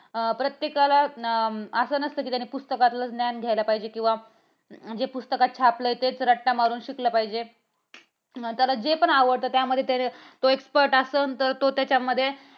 प्रत्येकाला अं असं नसतं कि पुस्तकातलच ज्ञान घेतलं पाहिजे. किंवा जे पुस्तकातलंच छापलं तेच रट्टा मारून शिकल पाहिजे. त्याला जे पण आवडत त्यामध्ये तो expert असल. तर तो त्याच्यामध्ये